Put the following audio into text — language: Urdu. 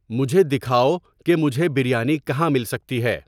مجھے دکھاؤ کہ مجھے بریانی کہاں مل سکتی ہے